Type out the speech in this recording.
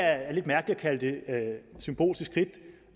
er lidt mærkeligt at kalde det symbolske skridt